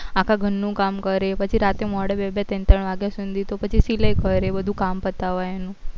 આખા ઘર નું કામ કરે પછી રાતે મોડા બે બે ત્રણ વાગ્યા સુધી તો પછી સિલાઈ કરે બધું કામ પતાવે ને